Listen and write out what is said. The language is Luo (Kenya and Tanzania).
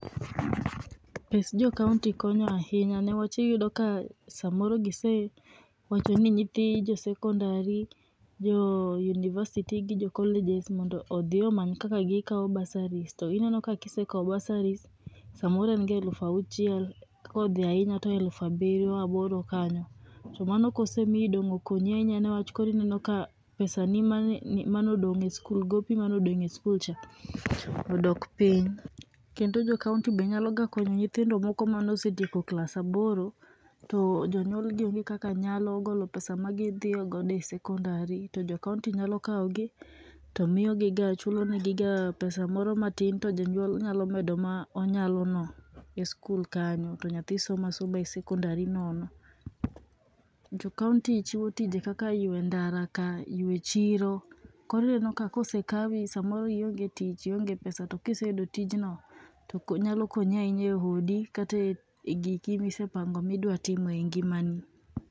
Pes jokaonti konyo ahinya newach iyudo ka samoro gisewacho ni nyithi josekondari, jo oh university gi jo colleges mondo odhi omany kaka gikao bursaries to ineno kisekao bursaries, samoro enga eluf auchiel, kodhi ainya to eluf abirio aboro kanyo. To mano kose mii dong' okonyi ainya newach koro ineno ka pesa ni mani manodong' e skul gopi manodong' e skul cha, odok piny. Kendo jokaonti be nyalo konyo nyithindo moko manosetieko klas aboro, to jonyuogi onge kaka nyalo golo pesa ma gidhiogodo e sekondari to jokaonti nyalo kaogi to miogiga chulo negiga pesa moro matin to jonyuol nyalo medo ma onyalo no e skul kanyo, to nyathi soma soma e sekondari nono. Jokaonti chiwo tije kaka ywe ndara ka, ywe chiro, koro ineno ka kosekawi samoro ionge tich, ionge pesa to kiseyudo tijno to ko nyalo konyi ainya e odi kata e giki misepango midwa timo e ngimani.